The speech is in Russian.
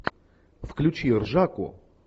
включи ржаку